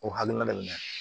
O hakilina